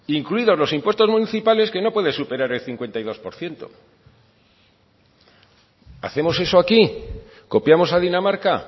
incluidos los impuestos municipales que no pueden superar el cincuenta y dos por ciento hacemos eso aquí copiamos a dinamarca